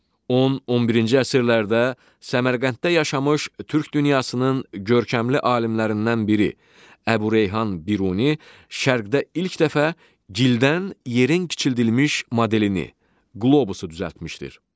10-11-ci əsrlərdə Səmərqənddə yaşamış türk dünyasının görkəmli alimlərindən biri Əbu Reyhan Biruni Şərqdə ilk dəfə gildən yerin kiçildilmiş modelini, qlobusu düzəltmişdir.